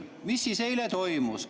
Mis eile toimus?